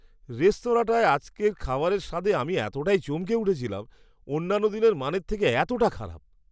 রেস্তোরাঁটায় আজকের খাবারের স্বাদে আমি এতটাই চমকে উঠেছিলাম! অন্যান্য দিনের মানের থেকে এতটা খারাপ!